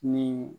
Ni